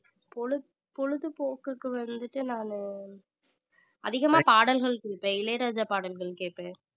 பொழுதுபோக்~ பொழுதுபோக்குக்கு வந்துட்டு நானு அதிகமா பாடல்கள் கேட்பேன் இளையராஜா பாடல்கள் கேட்பேன்